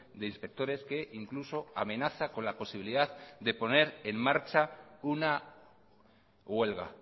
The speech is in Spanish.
de inspectores que incluso amenaza con la posibilidad de poner en marcha una huelga